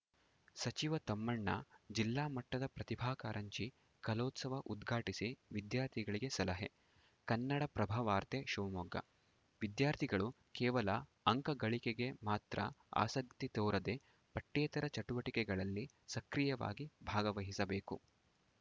ಸಚಿವ ತಮ್ಮಣ್ಣ ಜಿಲ್ಲಾ ಮಟ್ಟದ ಪ್ರತಿಭಾ ಕಾರಂಜಿ ಕಲೋತ್ಸವ ಉದ್ಘಾಟಿಸಿ ವಿದ್ಯಾರ್ಥಿಗಳಿಗೆ ಸಲಹೆ ಕನ್ನಡಪ್ರಭವಾರ್ತೆ ಶಿವಮೊಗ್ಗ ವಿದ್ಯಾರ್ಥಿಗಳು ಕೇವಲ ಅಂಕ ಗಳಿಕೆಗೆ ಮಾತ್ರ ಆಸಕ್ತಿ ತೋರದೆ ಪಠ್ಯೇತರ ಚಟುವಟಿಕೆಗಳಲ್ಲಿ ಸಕ್ರಿಯವಾಗಿ ಭಾಗವಹಿಸಬೇಕು